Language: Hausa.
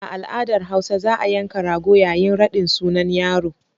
A al'adar hausa za a yanka rago yayin raɗin sunan yaro.